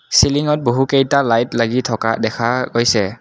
চিলিঙত বহুকেইটা লাইট লাগি থকা দেখা পাইছে।